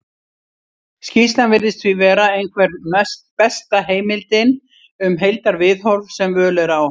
skýrslan virðist því vera einhver besta heimildin um heildarviðhorf sem völ er á